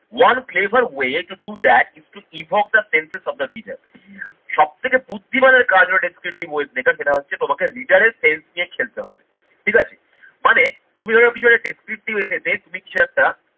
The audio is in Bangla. one flavor way to do that its to evok the places of the reader সবথেকে বুদ্ধিমানের কাজ হলো descriptive weight সেটা হচ্ছে তোমাকে reader এর sense দিয়ে খেলতে হবে ঠিক আছে? মানে তুমি ধরো পিছনে descriptive essay তে তুমি কিছু একটা